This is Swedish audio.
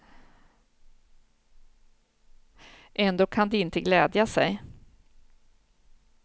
Ändå kan de inte glädja sig.